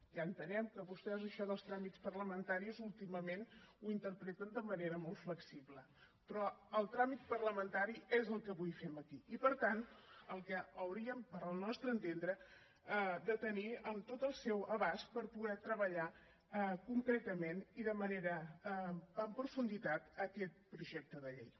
ja entenem que vostès això dels tràmits parlamentaris últimament ho interpreten de manera molt flexible però el tràmit parlamentari és el que avui fem aquí i per tant el que hauríem pel nostre entendre de tenir en tot el seu abast per poder treballar concretament i en profunditat aquest projecte de llei